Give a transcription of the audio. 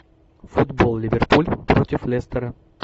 футбол ливерпуль против лестера